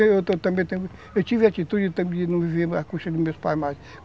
Eu também tenho... Eu tive a atitude de não viver as custas dos meus pais mais.